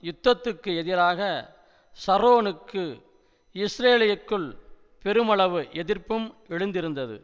யுத்தத்துக்கு எதிராக ஷரோனுக்கு இஸ்ரேலியக்குள் பெருமளவு எதிர்ப்பும் எழுந்திருந்தது